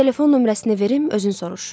Telefon nömrəsini verim özün soruş.